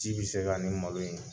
Ci bɛ se ka nin malo ɲɛn.